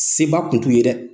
Se ba kun t'u ye dɛ!